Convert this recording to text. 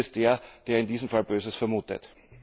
Bös ist der, der in diesem Fall Böses vermutet.